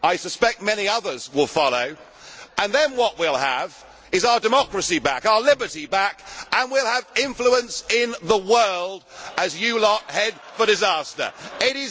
I suspect many others will follow, and then what we will have is our democracy back, our liberty back, and we will have influence in the world as you lot head for disaster. It is going to happen.